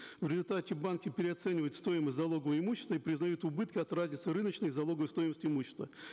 в результате банки переоценивают стоимость залогового имущества и признают убытки от равенства рыночной и залоговой стоимости имущества